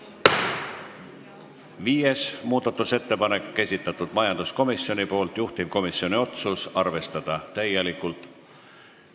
Viies muudatusettepanek, majanduskomisjoni esitatud, juhtivkomisjoni otsus: arvestada täielikult.